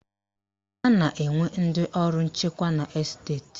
A na-enwe ndị ọrụ nchekwa na Esteti